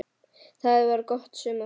Það var gott sumar.